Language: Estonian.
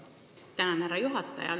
Tänan, härra juhataja!